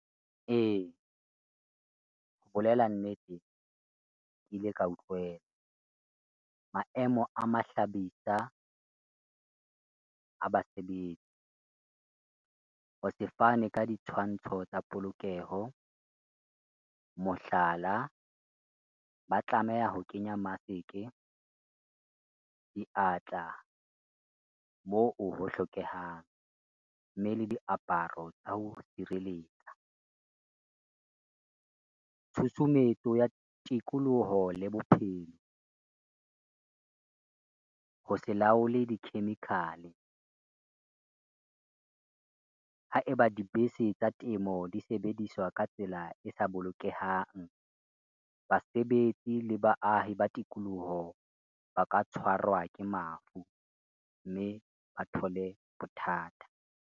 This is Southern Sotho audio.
Ee, ho bolela nnete, ke ile ka utlwela. Maemo a mahlabisa a basebetsi, ho sefane ka ditshwantsho tsa polokeho. Mohlala, ba tlameha ho kenya maseke, diatla moo ho hlokehang, mme le diaparo tsa ho sireletsa, tshusumetso ya tikoloho le bophelo, ho se laole di-chemical-e. Ha eba dibese tsa temo di sebediswa ka tsela e sa bolokehang, basebetsi le baahi ba tikoloho ba ka tshwarwa ke mafu mme ba thole bothata.